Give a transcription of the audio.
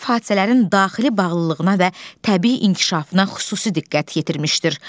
Müəllif hadisələrin daxili bağlılığına və təbii inkişafına xüsusi diqqət yetirmişdir.